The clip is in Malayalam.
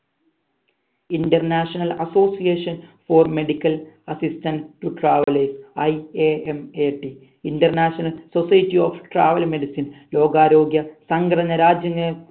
international association for medical assistant to travellingIAMATinternational society of travel medicine ലോകാരോഗ്യ സംഘടന രാജ്യങ്